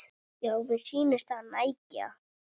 Já, mér sýnist það nægja!